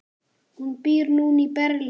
Hún býr núna í Berlín.